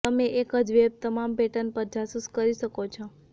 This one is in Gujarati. તમે એક જ વેબ તમામ પેટર્ન પર જાસૂસ કરી શકો છો